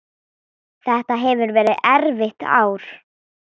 Þetta hefur verið erfitt ár.